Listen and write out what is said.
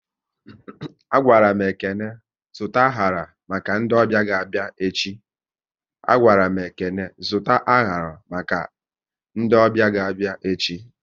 A gwaram Ekene zụta anyara maka ndị ọbịa ga abịa echi